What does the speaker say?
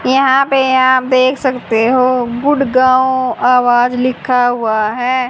यहां पे आप देख सकते हो गुड़गांव आवाज लिखा हुआ है।